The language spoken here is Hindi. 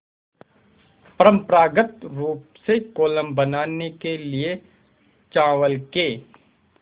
परम्परागत रूप से कोलम बनाने के लिए चावल के